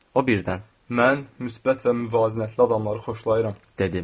O birdən, mən müsbət və müvazinətli adamları xoşlayıram, dedi.